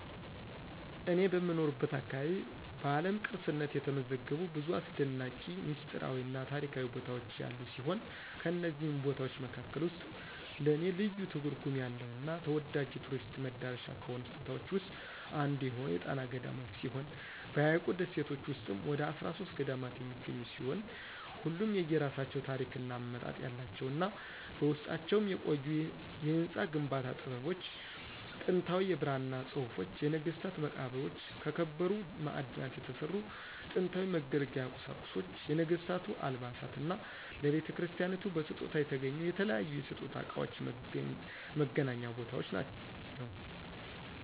እኔ በምኖርበት አካባቢ በዓለም ቅርስነት የተመዘገቡ ብዙ አሰደናቂ፣ ሚስጥራዊ እና ታሪካዊ ቦታዎች ያሉ ሲሆን ከነዚህም ቦታዎች መካከል ውስጥ ለኔ ልዩ ትርጉም ያለው እና ተወዳጅ የቱሪስት መዳረሻ ከሆኑት ቦታዎች ዉስጥ አንዱ የሆነው የጣና ገዳማት ሲሆን በሀይቁ ደሴቶች ውስጥም ወደ 13 ገዳማት የሚገኙ ሲሆን ሁሉም የየራሳቸው ታሪክ እና አመጣጥ ያላቸው እና በውስጣቸውም የቆዩ የህንፃ ግንባታ ጥበቦች፣ ጥንታዊ የብራና ፅሁፎች፣ የነገስታት መቃብሮች፣ ከከበሩ ማዕድናት የተሰሩ ጥንታዊ መገልገያ ቁሳቁሶች፣ የነገስታቱ አልባሳት እና ለቤተክርስቲያናቱ በስጦታ የተገኙ የተለያዩ የስጦታ እቃዎች መገናኛ ቦታ ነው።